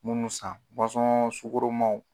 Munnu san sugɔromaw